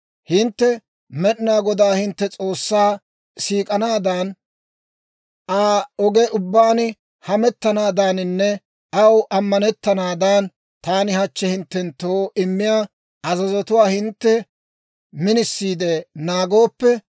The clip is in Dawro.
«Hintte Med'inaa Godaa hintte S'oossaa siik'anaadan, Aa oge ubbaan hamettanaadaaninne aw ammanettanaadan, taani hachchi hinttenttoo immiyaa azazotuwaa hintte minisiide naagooppe,